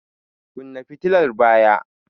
Kunna fitilar baya!